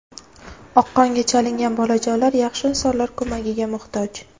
Oqqonga chalingan bolajonlar yaxshi insonlar ko‘magiga muhtoj.